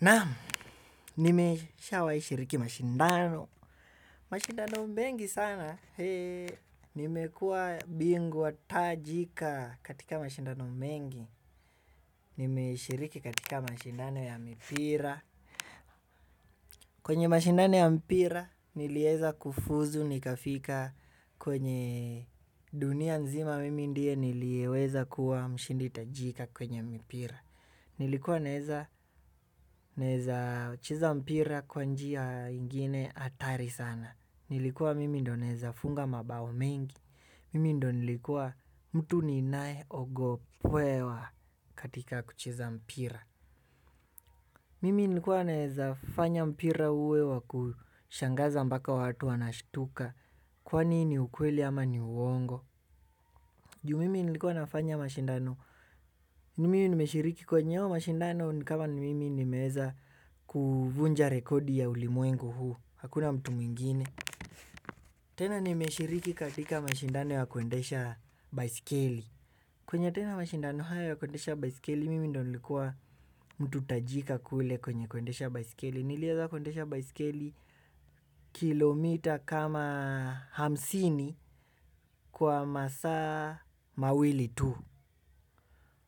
Naam nimeshawahi shiriki mashindano, mashindano mengi sana, nimekuwa bingwa tajika katika mashindano mengi, nimeshiriki katika mashindano ya mipira. Kwenye mashindano ya mpira nilieza kufuzu nikafika kwenye dunia nzima mimi ndiye niliyeweza kuwa mshindi tajika kwenye mpira. Nilikuwa naeza cheza mpira kwa njia ingine hatari sana. Nilikuwa mimi ndio naeza funga mabao mengi. Mimi ndio nilikuwa mtu ninaye ogopewa katika kucheza mpira. Mimi nilikuwa naeza fanya mpira uwe wa kushangaza mpaka watu wanashtuka. Kwani ni ukweli ama ni uongo juu mimi nilikuwa nafanya mashindano. Ni mimi nimeshiriki kwenye hayo mashindano ni kama ni mimi nimeweza kuvunja rekodi ya ulimwengu huu. Hakuna mtu mwingine. Tena nimeshiriki katika mashindano ya kuendesha baiskeli kwenye tena mashindano haya ya kuendesha baiskeli mimi ndio nilikuwa mtu tajika kule kwenye kuendesha baiskeli. Nilieza kuendesha baisikeli kilomita kama hamsini kwa masaa mawili tu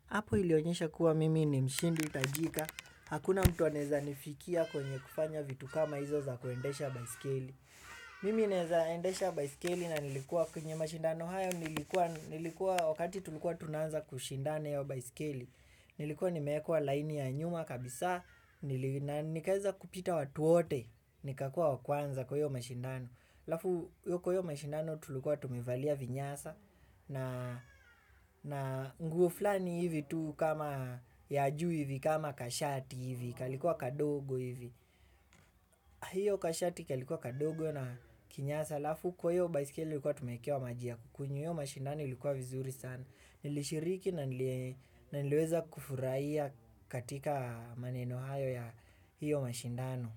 hapo ilionyesha kuwa mimi ni mshindi tajika, hakuna mtu anaeza nifikia kwenye kufanya vitu kama hizo za kuendesha baiskeli. Mimi naeza endesha baiskeli na nilikuwa kwenye mashindano haya nilikuwa wakati tulikuwa tunaanza kushindana hiyo baiskeli. Nilikuwa nimeekwaa laini ya nyuma kabisa, nikaeza kupita watu wote, nikakua wa kwanza kwa hiyo mashindano. Alafu kwa hiyo mashindano tulikuwa tumevalia vinyasa na nguo fulani hivi tu kama ya juu hivi kama kashati hivi kalikuwa kadogo hivi. Hiyo kashati kalikuwa kadogo na kinyasa alafu kwa hiyo baiskeli tulikuwa tumeekewa maji ya kunywa hiyo mashindano ilikuwa vizuri sana. Nilishiriki na niliweza kufurahia katika maneno hayo ya hiyo mashindano.